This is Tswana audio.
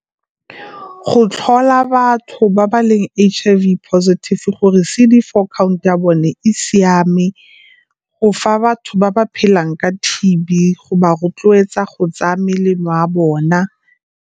Go tlhola batho ba ba leng H_I_V positive gore C_D four count ya bone e siame, go fa batho ba ba phelang ka T_B go ba rotloetsa go tsaya melemo ya bona.